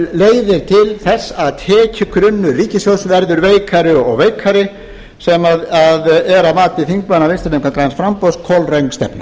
leiðir til þess að tekjugrunnur ríkissjóðs verður veikari og veikari sem er að mati þingmanna vinstri hreyfingarinnar græns framboðs kolröng stefna